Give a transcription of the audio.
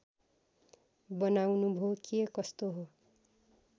बनाउनुभो के कस्तो हो